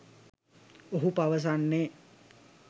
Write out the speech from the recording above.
ඔහු පවසන්නේ